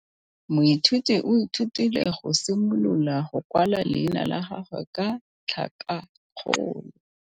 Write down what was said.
Moithuti o ithutile go simolola go kwala leina la gagwe ka tlhakakgolo.